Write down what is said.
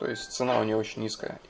то есть цена у него очень низка